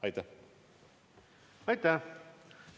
Aitäh!